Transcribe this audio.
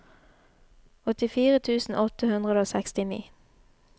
åttifire tusen åtte hundre og sekstini